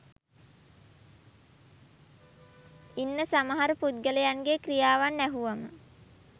ඉන්න සමහර පුද්ගලයන්ගේ ක්‍රියාවන් ඇහුවම